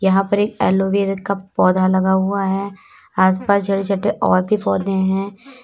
यहां पर एक एक एलोवेरा का पौधा लगा हुआ है आस पास छोटे छोटे और भी पौधे हैं।